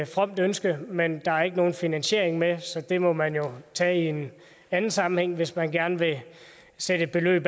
fromt ønske men der er ikke nogen finansiering med så det må man jo tage i en anden sammenhæng hvis man gerne vil sætte et beløb